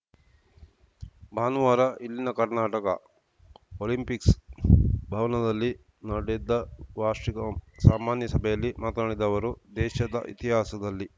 ಭಾನುವಾರ ಇಲ್ಲಿನ ಕರ್ನಾಟಕ ಒಲಿಂಪಿಕ್ಸ್‌ ಭವನದಲ್ಲಿ ನಡೆದ ವಾರ್ಷಿಕ ಸಾಮಾನ್ಯ ಸಭೆಯಲ್ಲಿ ಮಾತನಾಡಿದ ಅವರು ದೇಶದ ಇತಿಹಾಸದಲ್ಲಿ